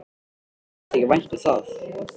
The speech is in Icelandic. Og mér þykir vænt um það.